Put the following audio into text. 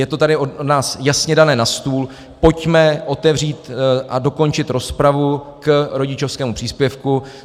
Je to tady od nás jasně dané na stůl, pojďme otevřít a dokončit rozpravu k rodičovskému příspěvku.